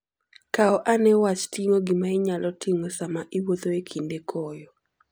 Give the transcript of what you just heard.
Kaw ane wach ting'o gima inyalo ting'o sama iwuotho e kinde koyo.